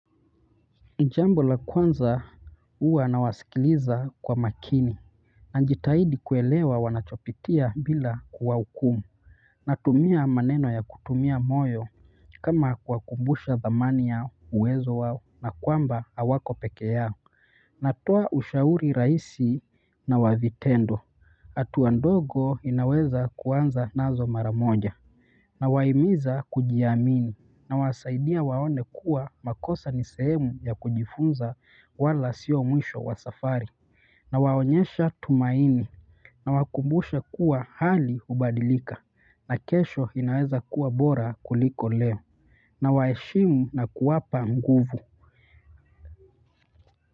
Jambo la kwanza huwa nawasikiliza kwa makini najitahidi kuelewa wanachopitia bila kuwahukumu natumia maneno ya kutumia moyo kama kuwakumbusha thamani ya uwezo wao na kwamba hawako peke yao natoa ushauri rahisi na wa vitendo hatua ndogo ninaweza kuanza nazo mara moja. Nawahimiza kujiamini nawasaidia waone kuwa makosa ni sehemu ya kujifunza wala sio mwisho wa safari. Nawaonyesha tumaini nawakumbusha kuwa hali uhbadilika na kesho inaweza kuwa bora kuliko leo na waheshimu na kuwapa nguvu.